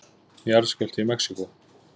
Jarðskjálfti í Mexíkó